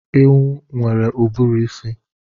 Ewu nwere uburuisi